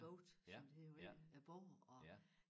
Boat som det hedder på engelsk æ båd og